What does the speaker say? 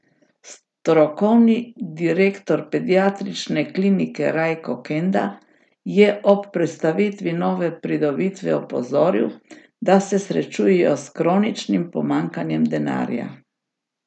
Strokovni direktor Pediatrične klinike Rajko Kenda je ob predstavitvi nove pridobitve opozoril, da se srečujejo s kroničnim pomanjkanjem denarja.